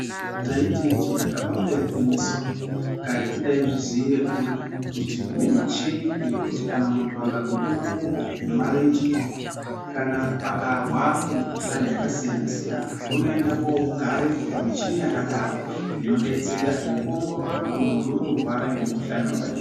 Taiti ijee kabanga igwinyiso karetu taizviziira kuri kuti kune michini yekuti kana muntu akagike makumbo nemarenje, kana akarwara nemikuhlani yakasiyana-siyana. Unoende kogarepo pamichini yakadaro inobetsera nekuongorora kuti muntu uri kurwara ngemukuhlani vakadini.